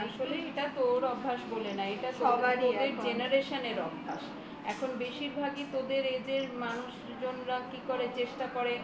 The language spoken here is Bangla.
আসলে এটা তোর অভ্যাস না তোদের generation র অভ্যাস এখন বেশিরভাগই তোদের age র মানুষজনরা কি করে চেষ্টা করে